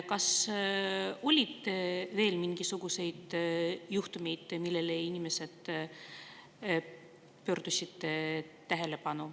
Kas on veel mingisuguseid juhtumeid, millele inimesed on tähelepanu pööranud?